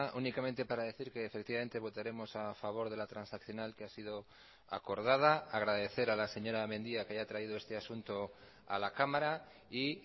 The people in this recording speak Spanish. únicamente para decir que efectivamente votaremos a favor de la transaccional que ha sido acordada agradecer a la señora mendia que haya traído este asunto a la cámara y